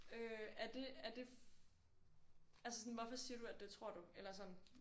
Øh er det er det. Altså sådan hvorfor siger du at det tror du eller sådan